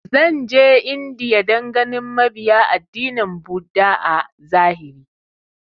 Zan je India dan ganin mabiya addinin buddha a zahiri